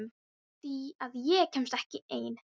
Af því að ég kemst ekki ein.